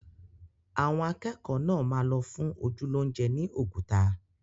Àwọn akẹ́kọ̀ọ́ náà máa lọ fún ojú lóúnjẹ ni Oguta